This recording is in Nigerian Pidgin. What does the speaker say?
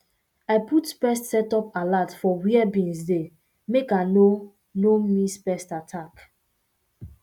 i put pest setup alert for where beans dey make i no i no miss pest attack